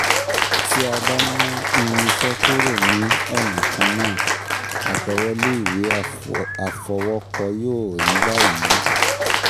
Tí a bá "ná" irinṣẹ́ kúrò ní ọ̀nà kan náà, àtẹ̀wolé ìwé àfọwọ́kọ yóò rí báyìí